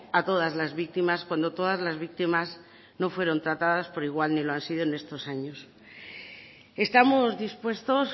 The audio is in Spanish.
a todas las víctimas cuando todas las víctimas no fueron tratadas por igual y ni lo han sido todos estos años estamos dispuestos